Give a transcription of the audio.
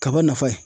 Kaba nafa ye